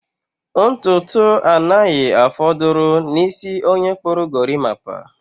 Ntutu anaghị afọdụrụ n'isi onye kpụrụ gorimapa.